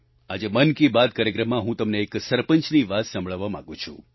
આજે મન કી બાત કાર્યક્રમમાં હું તમને એક સરપંચની વાત સંભળાવવા માગું છું